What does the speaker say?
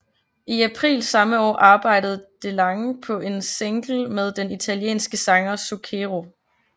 I april samme år arbejdede DeLange på en single med den italienske sanger Zucchero